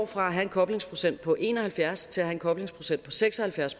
fra at have en koblingsprocent på en og halvfjerds til at have en koblingsprocent på seks og halvfjerds